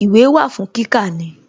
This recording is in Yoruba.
Ìwé wà fún kíkà ni